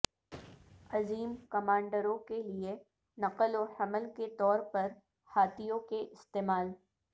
عظیم کمانڈروں کے لئے نقل و حمل کے طور پر ہاتھیوں کے استعمال